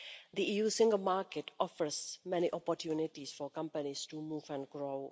The EU's single market offers many opportunities for companies to move and grow.